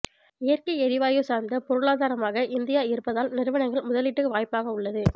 இயற்கை எரிவாயு சார்ந்த பொருளாதாரமாக இந்தியா இருப்பதால் நிறுவனங்கள் முதலீட்டுக்கு வாய்ப்பாக உள்ளது